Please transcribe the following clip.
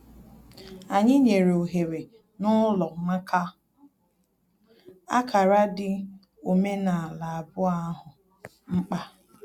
Anyị nyere ohere n'ụlọ maka ákárá dị omenaala abụọ ahụ mkpa